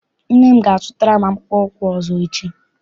Nne m ga- azụtara m akpụkpọ ụkwụ ọzọ echi.